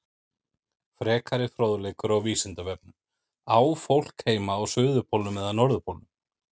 Frekari fróðleikur á Vísindavefnum Á fólk heima á suðurpólnum eða norðurpólnum?